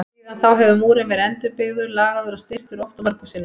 Síðan þá hefur múrinn verið endurbyggður, lagaður og styrktur oft og mörgum sinnum.